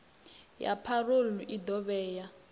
ya parole i ḓo vhea